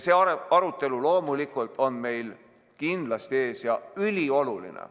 See arutelu on meil kindlasti ees ja ülioluline.